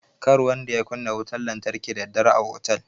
Kar kowa ya kunna wutan lantarki da daddare a otal.